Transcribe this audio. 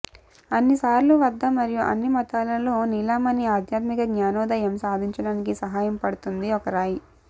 అన్ని సార్లు వద్ద మరియు అన్ని మతాలలో నీలమణి ఆధ్యాత్మిక జ్ఞానోదయం సాధించడానికి సహాయపడుతుంది ఒక రాయి